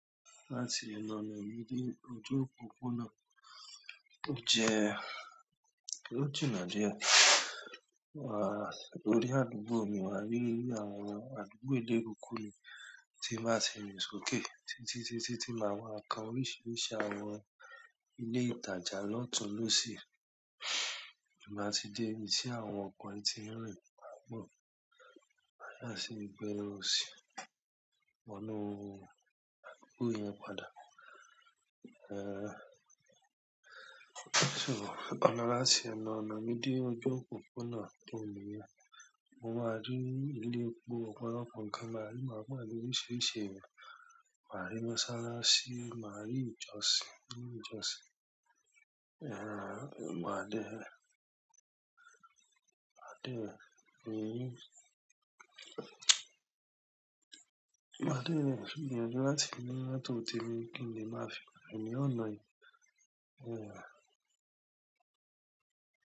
Láti ọnà mi dé ojú òpópónà, ó jẹ ọjọ́ ìnají, wà á lórí àdúgbò mi wà á rí inú àwọn àdúgbò eléru kúrú ni tí màá ti rìn sókè, títí, títí, tí màá wá kan oríṣiríṣi àwọn ilé ìtajà náà tún ló sì máa ti dé sí àwọn ọkọ̀ tí ń rìn láàbò. Màá sì gbẹ́rẹ́ òsì mọ́ inú àdúgbò yẹn padà. Ehn, so ọ̀nà láti ọnà mi dé ojú òpópónà tó mú yá, mo máa rí ilé epo ọ̀pọ̀lọpọ̀ nǹkan màá rí màá gbà oríṣiríṣi èrò, màá rí mọ́sálásí, màá rí ìjọsìn, rí ìjọsìn. Ehn, màá dé, màá dé, gbìyànjú láti ní mọ́tò tì mi kí n lè máa fi fún ẹ ní ọ̀nà yìí. Ehn.